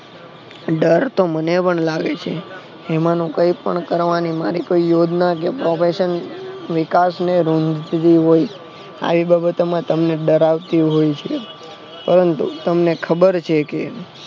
ડરતો મને પણ લાગે છે એમાનું કઈ પણ કરવાની કોઈ યોજના કે provision નિકાસને રોકતી હોય આવી બાબતોમાં તમને ડરાવતી હોય પણ તમને ખબર છેકે